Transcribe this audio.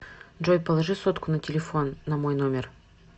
джой положи сотку на телефон на мой номер